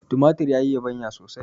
tumatir ya yi yabanya sosai